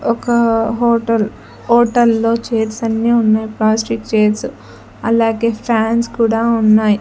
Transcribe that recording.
ఒక హోటల్ హోటల్లో చేర్స్ అన్నీ ఉన్నాయి ప్లాస్టిక్ చేర్సు అలాగే ఫ్యాన్స్ కూడా ఉన్నాయ్.